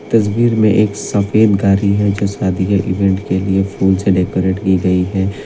तस्वीर में एक सफेद गाड़ी है जो शादी का इवेंट के लिए फूलों से डेकोरेट की गई है।